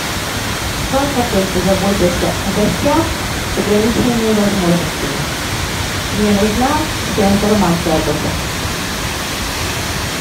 как отель позаботился о гостях с ограниченными возможностями мне нужна вся информация об этом